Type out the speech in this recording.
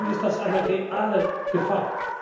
In meinen Augen ist das eine reale Gefahr.